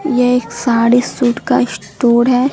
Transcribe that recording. यह एक साड़ी सूट का स्टोर है।